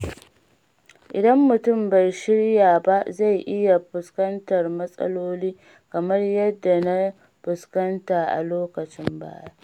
Idan mutum bai shirya ba, zai iya fuskantar matsaloli kamar yadda na fuskanta a lokacin baya.